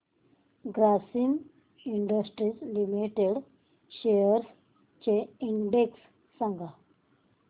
Grasim industries limited shares चा index सांगा